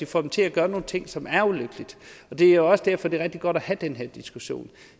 får dem til at gøre nogle ting som er ulykkeligt det er også derfor det er rigtig godt at have den her diskussion